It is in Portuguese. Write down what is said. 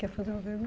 Quer fazer uma